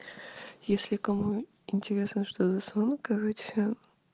если кому интересно что за сон короче